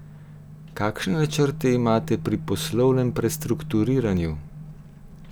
Kakšne načrte imate pri poslovnem prestrukturiranju?